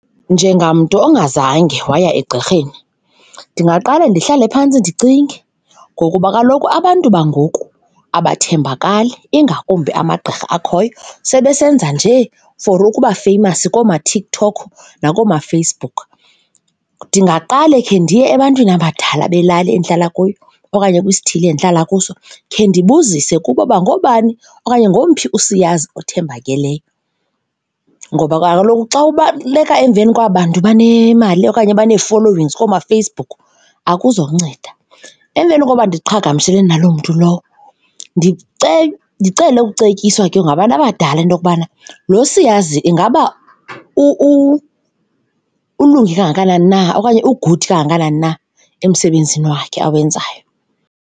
Njengamntu ongazange waya egqirheni ndingaqale ndihlale phantsi ndicinge ngokuba kaloku abantu bangoku abathembakali, ingakumbi amagqirha akhoyo. Sebesenza nje for ukuba famous koomaTikTok nakoomaFacebook. Ndingaqale khe ndiye ebantwini abadala belali endihlala kuyo okanye kwisithili endihlala kuso khe ndibuzise kubo uba ngoobani okanye ngowumphi usiyazi othembakeleyo ngoba kaloku xa ubaleka emveni kwaba bantu banemali okanye banee-followings koomaFacebook, akuzonceda. Emveni koba ndiqhagamshelane naloo mntu lowo, ndicele ukucetyiswa ke ngabantu abadala into yokubana lo siyazi ingaba ukulungele kangakanani na okanye u-good kangakanani na emsebenzini wakhe awenzayo.